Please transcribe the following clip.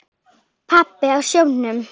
Pabbi á sjónum.